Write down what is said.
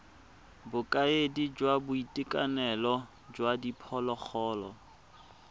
bokaedi jwa boitekanelo jwa diphologolo